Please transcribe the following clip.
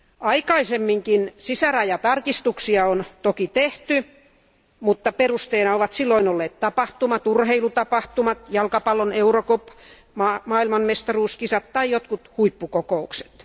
Aikaisemminkin sisärajatarkastuksia on toki tehty, mutta perusteena ovat silloin olleet tapahtumat, urheilutapahtumat, jalkapallon eurocup, maailmanmestaruuskisat tai jotkut huippukokoukset.